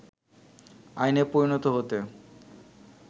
আইনে পরিণত হতে